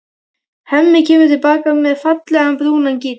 Hemmi kemur til baka með fallegan, brúnan gítar.